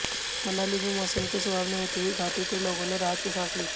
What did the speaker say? मनाली में मौसम के सुहावने होते ही घाटी के लोगाें ने राहत की सांस ली